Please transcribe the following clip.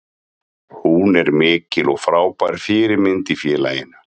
Hún er mikil og frábær fyrirmynd í félaginu.